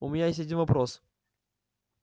у меня есть один вопрос